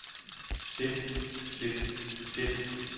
sit sit sit